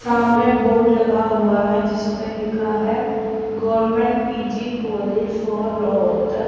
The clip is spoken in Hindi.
सामने बोर्ड लगा हुआ है जिस पे लिखा है government PG college for Rohtak--